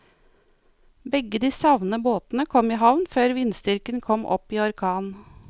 Begge de savnede båtene kom i havn før vindstyrken kom opp i orkan.